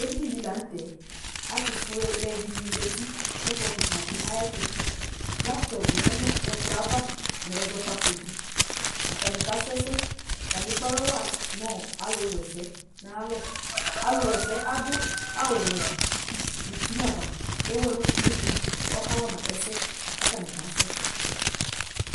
Edini dɩ la nʋ tɛ Atʋfuelɛ dɩnɩ zati nʋ ɛkplɔ kɩka dɩ ayɛtʋ Laptɔp lɛ nʋ ɛkplɔ yɛ ava nʋ ɛzɔ kpako dɩ Atanɩ kasʋ ɛsɛ Atanɩ ekpe alɔ wa nʋ alʋwa ɛsɛ nʋ ayalɔ Alʋwa ɛsɛ adʋ awʋwɛ nʋ uti nʋ ava Ewu ɛlʋ kulu dɩnɩ kʋ ɔkawa ma ɛsɛ kʋ atanɩ kasʋ